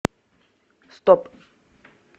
стоп